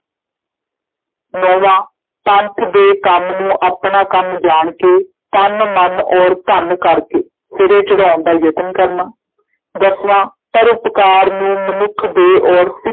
ਨੌਵਾਂ ਪੰਥ ਦੇ ਕੰਮ ਨੂੰ ਆਪਣਾ ਕੰਮ ਜਾਣ ਕੇ ਤਨ, ਮਨ ਔਰ ਧਨ ਕਰਕੇ ਸਿਰੇ ਚੜ੍ਹਾਉਣ ਦਾ ਯਤਨ ਕਰਨਾ ਦਸਵਾਂ ਪਰਉਪਕਾਰ ਨੂੰ ਮਨੁੱਖ ਦੇਹ ਔਰ